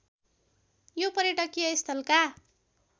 यो पर्यटकीय स्थलका